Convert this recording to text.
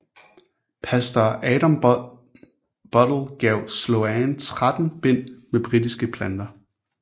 Pastor Adam Buddle gav Sloane 13 bind med britiske planter